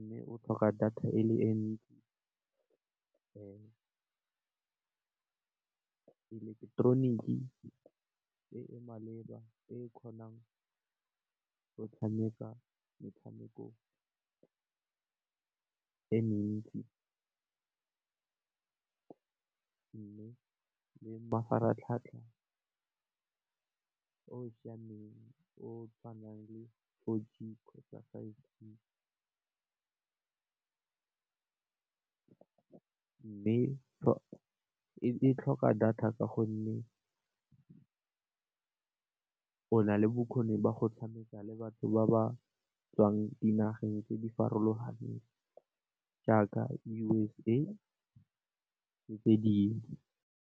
Mme, o tlhoka data e le e ntsi, eleketeroniki e e maleba e kgonang go tshameka metshameko e mentsi mme, le mafaratlhatlha o siameng o tshwanang le kgotsa mme, e tlhoka data ka gonne, o na le bokgoni ba go tshameka le batho ba ba tswang dinageng tse di farologaneng jaaka USA le tse dingwe.